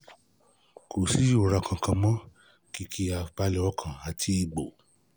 Kò sí ìrora kankan mọ́, kìkì àìbalẹ̀ ọkàn àti egbò